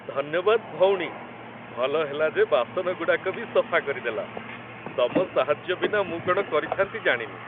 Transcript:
ଧନ୍ୟବାଦ, ଭଉଣୀ, ଭଲ ହେଲା ଯେ ବାସନଗୁଡ଼ାକ ବି ସଫା କରିଦେଲ । ତମ ସାହାଯ୍ୟ ବିନା ମୁଁ କ'ଣ କରିଥା'ନ୍ତି ଜାଣିନି ।